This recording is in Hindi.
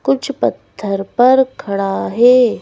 कुछ पत्थर पर खड़ा है।